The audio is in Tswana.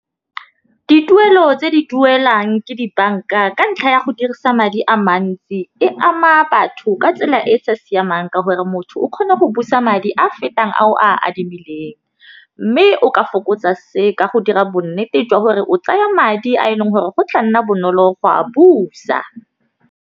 Dituelo tse di duelang ke dibanka ka ntlha ya go dirisa madi a mantsi, e ama batho ka tsela e e sa siamang ka gore motho o kgone go busa madi a fetang a o a adimileng, mme o ka fokotsa se ka go dira bonnete jwa gore o tsaya madi a e leng gore go tla nna bonolo go a busa.